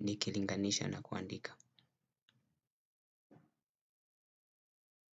nikilinganisha na kuandika.